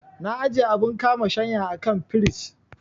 Na ajiye abun kama shanya a kan firij.